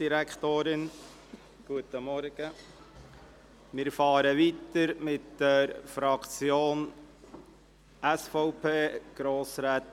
Wir setzen die Beratung mit dem Votum der SVP-Fraktion fort.